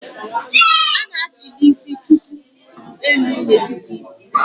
A na-achili isi chuku elu n'etiti isi